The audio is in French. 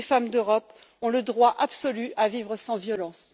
Toutes les femmes d'Europe ont le droit absolu à vivre sans violence.